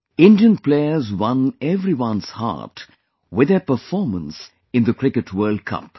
Indian players won everyone's heart with their performance in the Cricket World Cup